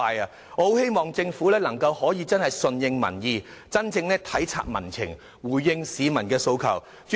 我很希望政府能夠順應民意，真正體察民情和回應市民訴求。